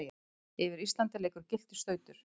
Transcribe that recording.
yfir Íslandi liggur gylltur stautur.